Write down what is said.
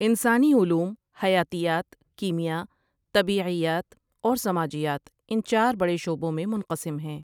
انسانی علوم حیاتیات، کیمیاء، طبیعیات اور سماجیات ان چار بڑے شعبوں میں منقسم ہیں۔